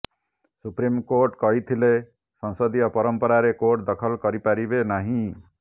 supreme court କହିଥିଲେ ସଂସଦୀୟ ପରମ୍ପରାରେ କୋର୍ଟ ଦଖଲ କରିପାରିବେ ନାହିଁ